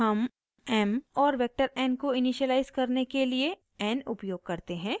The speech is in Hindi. हम m और वेक्टर n को इनिशिअलाइज़ करने के लिए n उपयोग करते हैं